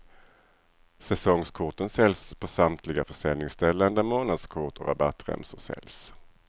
Säsongskorten säljs på samtliga försäljningsställen där månadskort och rabattremsor säljs.